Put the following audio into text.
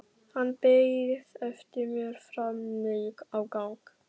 Hann beið eftir mér frammi á gangi.